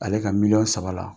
Ale ka miliyɔn saba la,